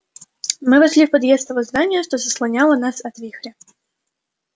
мы вошли в подъезд того здания что заслоняло нас от вихря